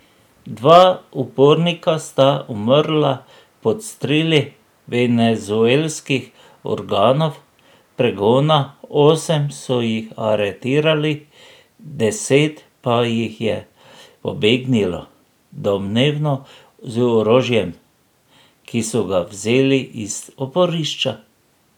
Dva upornika sta umrla pod streli venezuelskih organov pregona, osem so jih aretirali, deset pa jih je pobegnilo, domnevno z orožjem, ki so ga vzeli iz oporišča.